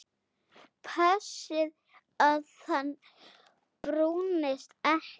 Passið að hann brúnist ekki.